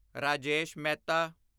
Rajesh Mehta